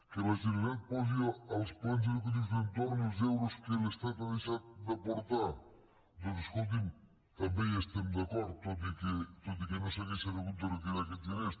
que la generalitat posi als plans educatius d’entorn els euros que l’estat ha deixat d’aportar doncs escolti’m també hi estem d’acord tot i que no s’haurien hagut de retirar aquests diners